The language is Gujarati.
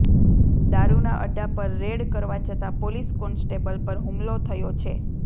દારૂના અડ્ડા પર રેડ કરવા જતા પોલીસ કોન્સ્ટેબલ પર હુમલો થયો છે